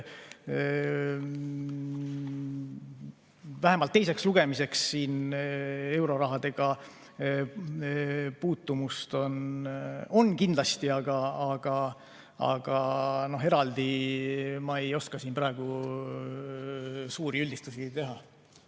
Vähemalt teiseks lugemiseks siin eurorahadega puutumust on kindlasti, aga eraldi ma ei oska siin praegu suuri üldistusi teha.